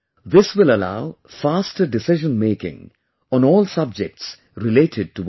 This will allow faster decisionmaking on all subjects related to water